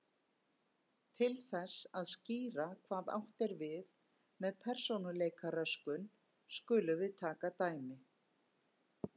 Til þess að skýra hvað átt er við með persónuleikaröskun skulum við taka dæmi.